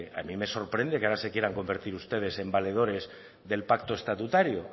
a mí sorprende que ahora se quieran convertir ustedes en valedores del pacto estatutario